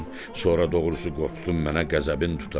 sonra doğrusu qorxdum mənə qəzəbin tuta.